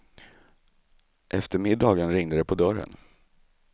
Efter middagen ringde det på dörren.